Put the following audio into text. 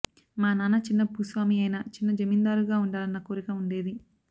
మా నాన్న చిన్న భూస్వామి అయినా చిన్న జమీందారుగా ఉండాలన్న కోరిక ఉండేది